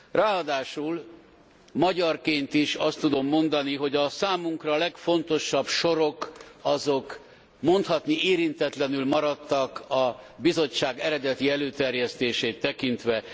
Ráadásul magyarként is azt tudom mondani, hogy a számunkra legfontosabb sorok mondhatni érintetlenül maradtak a Bizottság eredeti előterjesztését tekintve.